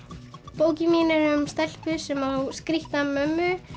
bókin mín er um stelpu sem á skrítna mömmu